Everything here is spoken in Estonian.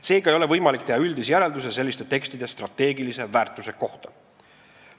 Seega ei ole võimalik teha üldisi järeldusi selliste tekstide strateegilise väärtuse kohta.